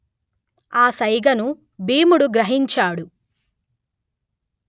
ఆ సైగను భీముడు గ్రహించాడు